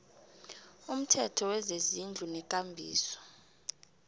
umthetho wezezindlu nekambiso